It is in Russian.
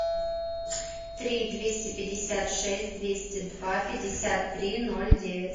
три двести пятьдесят шесть двести два пятьдесят три ноль девять